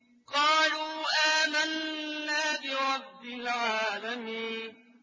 قَالُوا آمَنَّا بِرَبِّ الْعَالَمِينَ